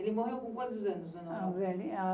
Ele morreu com quantos anos, dona Aurora? A